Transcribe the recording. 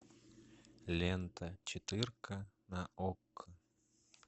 лента четырка на окко